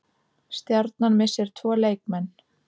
Stjarnan missir tvo leikmenn